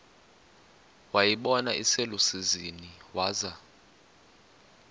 wayibona iselusizini waza